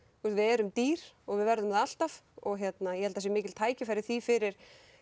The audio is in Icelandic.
við erum dýr og við verðum það alltaf og ég held það séu mikil tækifæri í því fyrir